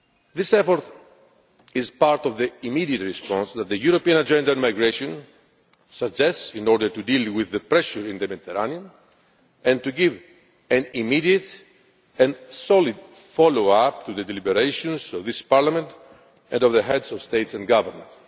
This effort is part of the immediate response that the European Agenda on Migration suggests in order to deal with the pressure in the Mediterranean and to give an immediate and solid follow up to the deliberations of this Parliament and of the Heads of State and Government.